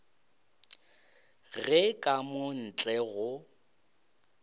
ge ka mo ntle go